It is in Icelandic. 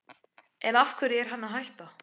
En af hverju er hann að hætta?